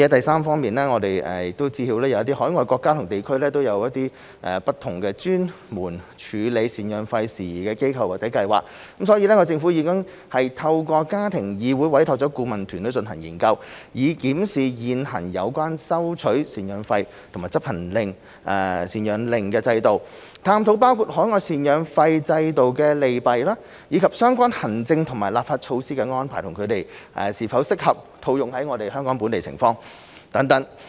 三我們知悉有一些海外國家或地區設有專門處理贍養費的事宜的機構或計劃，因此政府已透過家庭議會委託了顧問團隊進行研究，以檢視現行有關收取贍養費和執行贍養令的制度、探討包括海外贍養費制度的利弊及相關行政和立法措施的安排，以及它們是否適合套用於香港的情況等。